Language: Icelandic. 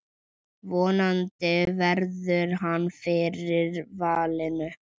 Vonandi verður hann fyrir valinu.